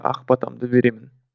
ақ батамды беремін